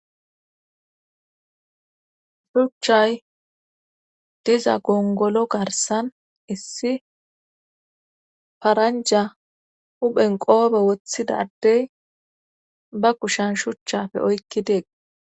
shuchchay diza gongolo garsan issi paranja huphen qoobe woththida adey ba kushan shuchchafe oykki dees